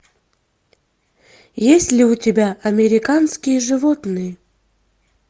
есть ли у тебя американские животные